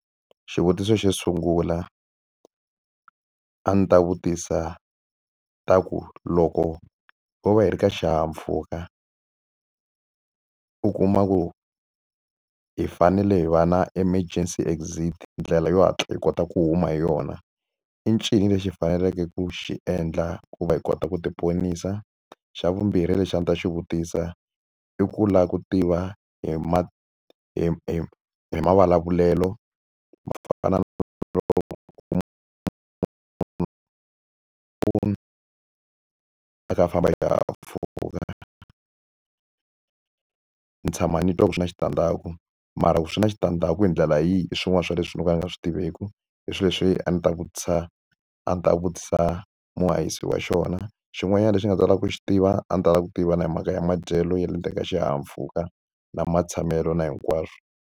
Xivutiso xo sungula, a ndzi ta vutisa ta ku loko ho va hi ri ka xihahampfuka, u kuma ku hi fanele hi va na emergency exit ndlela yo hatla hi kota ku huma hi yona, i ncini lexi hi faneleke ku xi endla ku va hi kota ku ti ponisa? Xa vumbirhi lexi a ndzi ta xi vutisa i ku lava ku tiva hi hi hi hi mavulavulelo a kha a famba hi xihahampfhuka? Ni tshama ni twa ku swi na switandzhaku mara ku swi na switandzhaku hi ndlela yihi hi swin'wana swa leswi no ka ni nga swi tiveki. I swilo leswi a ndzi ta vutisa a ndzi ta vutisa muhahisi wa xona. Xin'wanyana lexi a ni ta lava ku xi tiva, a ndzi ta lava ku tiva na hi mhaka ya madyelo ya le ndzeni ka xihahampfhuka na matshamelo na hinkwaswo.